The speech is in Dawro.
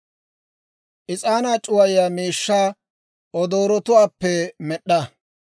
«Is'aanaa c'uwayiyaa miishshaa odoorotuwaappe med'd'a;